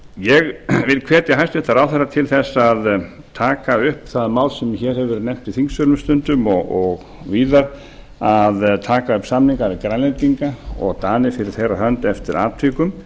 ég vil hvetja hæstvirtan ráðherra til að taka upp það mál sem hér hefur verið nefnt í þingsölum stundum og víðar að taka upp samninga við grænlendinga og dani fyrir þeirra hönd eftir atvikum